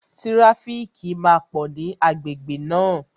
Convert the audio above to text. Tíráfíkì máa pò ní agbègbè náà